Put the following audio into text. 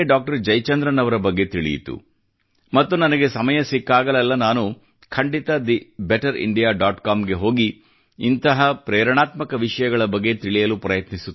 ಜಯಚಂದ್ರನ್ ಅವರ ಬಗ್ಗೆ ತಿಳಿಯಿತು ಮತ್ತು ನನಗೆ ಸಮಯ ಸಿಕ್ಕಾಗಲೆಲ್ಲ ನಾನು ಖಂಡಿತ the Better India dot com ಗೆ ಹೋಗಿ ಇಂಥ ಪ್ರೇರಣಾತ್ಮಕ ವಿಷಯಗಳ ಬಗ್ಗೆ ತಿಳಿಯಲು ಪ್ರಯತ್ನಿಸುತ್ತೇನೆ